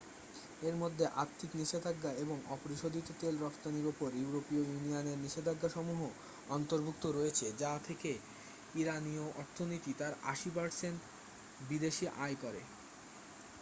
এর মধ্যে আর্থিক নিষেধাজ্ঞা এবং অপরিশোধিত তেল রফতানির উপর ইউরোপীয় ইউনিয়নের নিষেধাজ্ঞাসমূহ অন্তর্ভুক্ত রয়েছে যা থেকে ইরানিয় অর্থনীতি তার 80% বিদেশী আয় করে